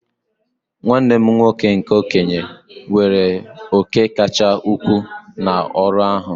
Nwanne m nwoke nke okenye weere òkè kacha ukwuu n'ọrụ ahụ